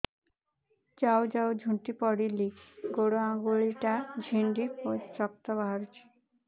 ଯାଉ ଯାଉ ଝୁଣ୍ଟି ପଡ଼ିଲି ଗୋଡ଼ ଆଂଗୁଳିଟା ଛିଣ୍ଡି ରକ୍ତ ବାହାରୁଚି